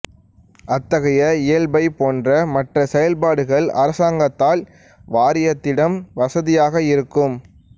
அத்தகைய இயல்பைப் போன்ற மற்ற செயல்பாடுகள் அரசாங்கத்தால் வாரியத்திடம் வசதியாக இருக்கும்